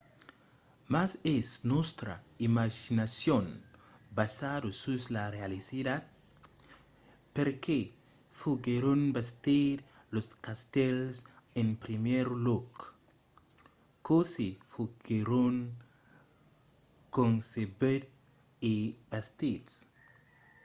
mas es nòstra imaginacion basada sus la realitat? perqué foguèron bastits los castèls en primièr lòc? cossí foguèron concebuts e bastits?